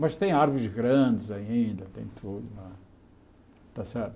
Mas tem árvores grandes ainda, tem tudo lá, está certo?